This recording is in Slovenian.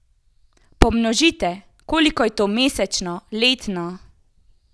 Pomnožite, koliko je to mesečno, letno!